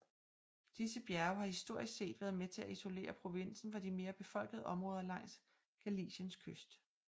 Disse bjerge har historisk set været med til at isolere provinsen fra de mere befolkede områder langs Galiciens kyst